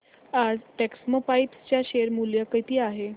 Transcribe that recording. आज टेक्स्मोपाइप्स चे शेअर मूल्य किती आहे